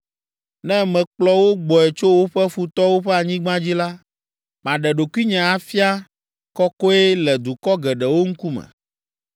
Ne mekplɔ wo gbɔe tso woƒe futɔwo ƒe anyigba dzi la, maɖe ɖokuinye afia kɔkɔe le dukɔ geɖewo ŋkume.